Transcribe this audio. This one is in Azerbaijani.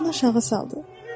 Başını aşağı saldı.